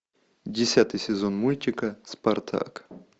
десятый сезон мультика спартак